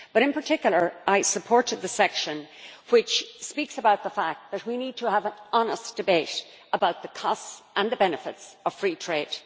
But, in particular, I supported the section which speaks about the fact that we need to have an honest debate about the costs and the benefits of free trade.